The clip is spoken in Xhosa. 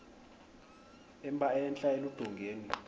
emba entla eludongeni